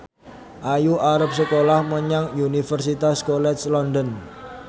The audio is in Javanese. Ayu arep sekolah menyang Universitas College London